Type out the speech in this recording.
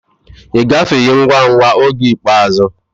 Ị gafeghị ngwa ngwa oge ikpeazụ.